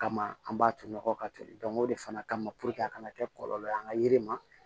Kama an b'a to nɔgɔ ka toli o de fana kama a kana kɛ kɔlɔlɔ ye an ka yiri ma